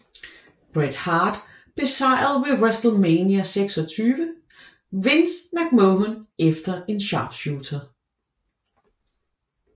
Bret Hart besejrede ved WrestleMania XXVI Vince McMahon efter en sharpshooter